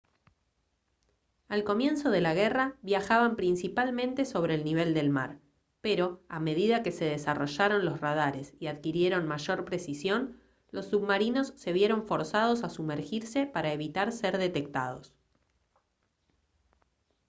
al comienzo de la guerra viajaban principalmente sobre el nivel del mar pero a medida que se desarrollaron los radares y adquirieron mayor precisión los submarinos se vieron forzados a sumergirse para evitar ser detectados